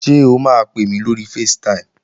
Ṣé o máa pè mí lórí facetime?